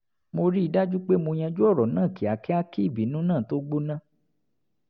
mo rí i dájú pé mo yanjú ọ̀rọ̀ náà kíákíá kí ìbínú náà tó gbóná